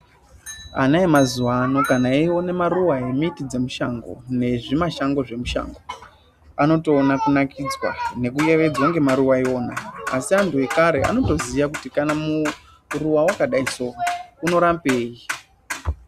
Ana emazuva ano kana eione maruva e miti dze mishango nezvi mashango zve mushango anotoona kunakidzwa neku yevedzwa nge maruva iwona asi antu ekare anoto ziya kuti kana muruwa wakadai so uno rapei.